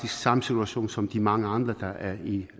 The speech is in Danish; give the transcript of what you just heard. samme situation som de mange andre der er i